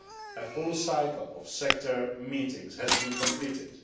A full cycle of sector meetings has been completed.